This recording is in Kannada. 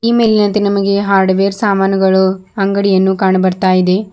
ಈ ಮೇಲಿನಂತೆ ನಮಗೆ ಹಾರ್ಡವೆರ್ ಸಾಮಾನುಗಳು ಅಂಗಡಿಯನ್ನು ಕಾಣು ಬರ್ತಾ ಇದೆ.